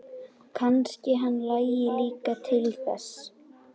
Kannski hann langi líka til þess!